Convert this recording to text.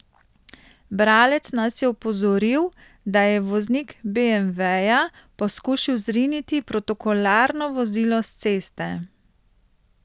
Bralec nas je opozoril, da je voznik beemveja poskušal zriniti protokolarno vozilo s ceste.